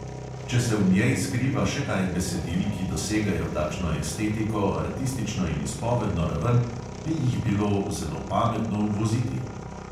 Če se v njej skriva še kaj besedil, ki dosegajo takšno estetiko, artistično in izpovedno raven, bi jih bilo zelo pametno uvoziti.